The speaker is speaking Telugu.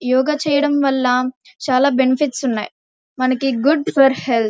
యోగా చేయడం వల్ల చాలా బెనిఫిట్స్ ఉన్నాయి. మనకి గుడ్ ఫర్ హెల్త్ .